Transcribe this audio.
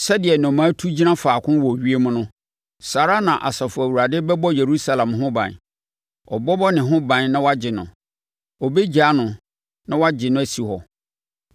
Sɛdeɛ nnomaa tu gyina faako wɔ ewiem no saa ara na Asafo Awurade bɛbɔ Yerusalem ho ban; ɔbɛbɔ ne ho ban na wagye no, ɔbɛgyaa no na wagye no asi hɔ.”